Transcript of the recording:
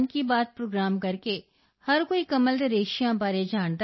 ਅੱਛਾ ਹੁਣ ਤੁਹਾਨੂੰ ਮਾਰਕੀਟ ਵੀ ਪ੍ਰਾਪਤ ਹੋ ਗਈ ਹੈ so now you got the market also